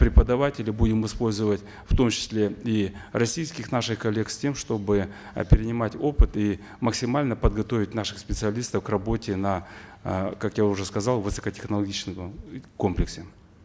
преподавателей будем использовать в том числе и российских наших коллег с тем чтобы э перенимать опыт и максимально подготовить наших специалистов к работе на э как я уже сказал высокотехнологичном э комплексе